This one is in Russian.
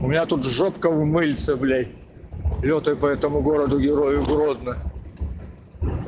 у меня тут жопка в мыльце блять лётаю по этому городу-герою гродно